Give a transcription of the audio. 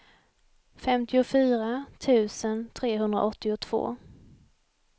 femtiofyra tusen trehundraåttiotvå